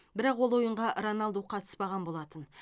бірақ ол ойынға роналду қатыспаған болатын